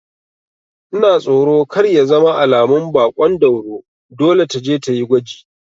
Ina tsoro kar ya zama alamun baƙon dauro, dole taje tayi gwaji